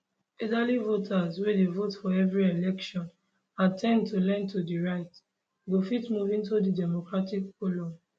elderly voters wey dey vote for every election and ten d to lean to di right go fit move into di democratic column